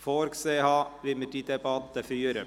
diese Debatte durchführen möchte: